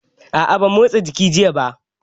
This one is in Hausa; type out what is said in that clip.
A'a ban motsa jiki jiya ba